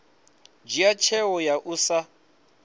dzhia tsheo ya u sa